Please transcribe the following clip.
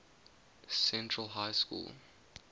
central high school